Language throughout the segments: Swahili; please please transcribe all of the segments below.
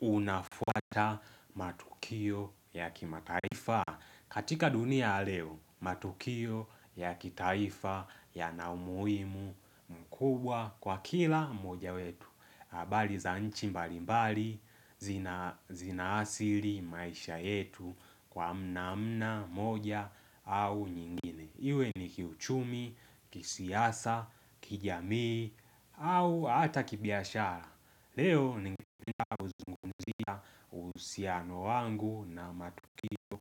Unafuata matukio ya kimataifa. Katika dunia ya leo, matukio ya kitaifa yana umuhimu kubwa kwa kila mmoja wetu. Abali za nchi mbali mbali zinaasili maisha yetu kwa namna moja au nyingine. Iwe ni kiuchumi, kisiasa, kijamii au hata kibiashara. Leo ningependa kuzungumzia usiano wangu na matukio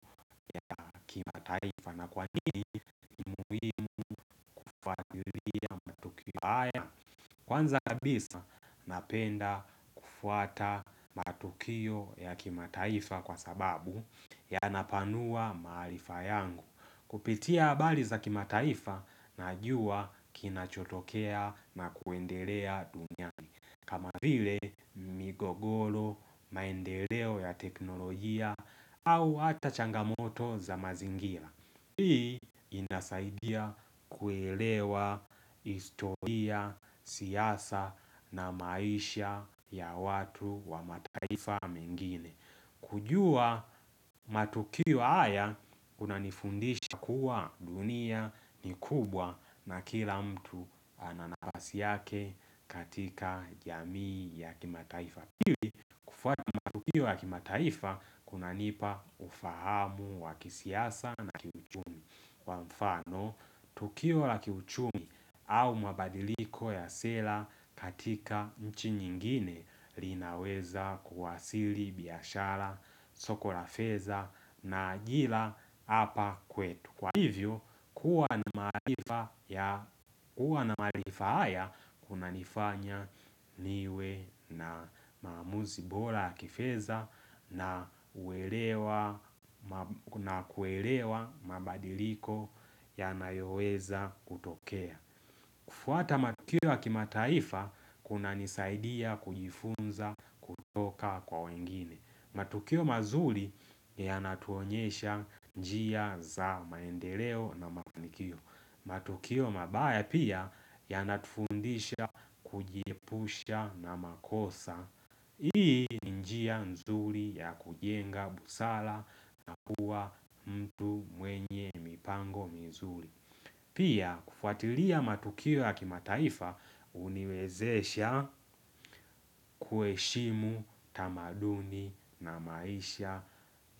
ya kimataifa kwa sababu yanapanua maalifa yangu. Kupitia abali za kimataifa najua kinachotokea na kuendelea duniani. Kama vile migogolo, maendeleo ya teknolojia au hata changamoto za mazingira. Hii inasaidia kuelewa historia, siasa na maisha ya watu wa mataifa mengine. Kujua matukio haya kunanifundisha kuwa dunia ni kubwa na kila mtu ana nafasi yake katika jamii ya kimataifa. Ya pili kufuata matukio ya kimataifa kunanipa ufahamu wa kisiasa na kiuchumi kwa mfano tukio la kiuchumi au mabadiliko ya sera katika nchi nyingine linaweza kuwasili biyashara, soko la feza na ajila apa kwetu. Kwa hivyo, kuwa maarifa ya na marifa haya kuna nifanya niwe na maamuzi bora ya kifeza na kuelewa mabadiliko yanayoweza kutokea. Kufuata matukio ya kimataifa, kuna nisaidia kujifunza kutoka kwa wengine. Matukio mazuri yanatuonyesha njia za maendeleo na mafanikio. Matukio mabaya pia yanatufundisha kujiepusha na makosa. Hii ni njia nzuri ya kujenga busara na kuwa mtu mwenye mipango mzuri. Pia kufuatilia matukio ya kimataifa uniwezesha kuheshimu tamaduni na maisha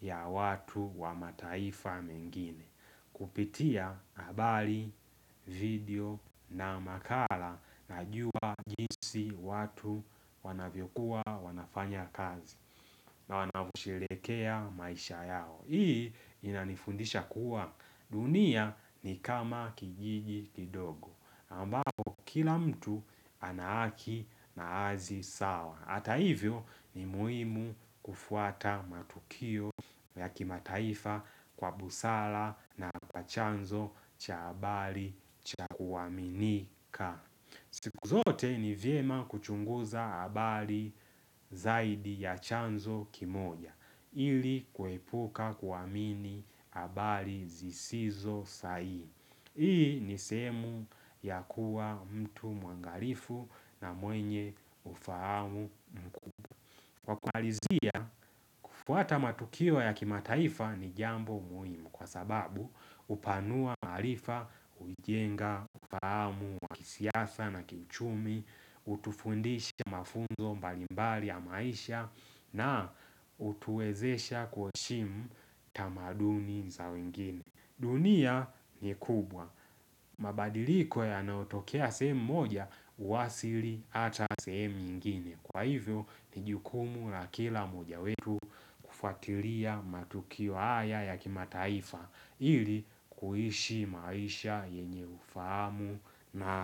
ya watu wa mataifa mengine. Kupitia habali, video na makala najua jinsi watu wanavyoku wanafanya kazi na wanavyoshelekea maisha yao. Hii inanifundisha kuwa dunia ni kama kijiji kidogo ambapo kila mtu ana haki na azi sawa. Hata hivyo ni muhimu kufuata matukio ya kimataifa kwa busara na pa chanzo cha habali cha kuwaminika. Siku zote ni vyema kuchunguza habali zaidi ya chanzo kimoja ili kuepuka kuwamini habali zisizo sahihi. Hii ni sehemu ya kuwa mtu mwangalifu na mwenye ufahamu. Kwa kumalizia, kufuata matukio ya kimataifa ni jambo muhimu kwa sababu upanua maarifa, ujenga, ufahamu wa kisiasa na kiuchumi, utufundisha mafunzo mbalimbali ya maisha na utuwezesha kuheshimu tamaduni za wengine. Dunia ni kubwa. Mabadiliko yanayotokea sehemu moja uwasili hata sehemu nyingine. Kwa hivyo, ni jukumu la kila moja wetu kufuatiria matukio haya ya kimataifa ili kuishi maisha yenye ufahamu na.